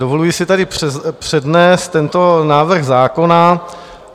Dovoluji si tady přednést tento návrh zákona.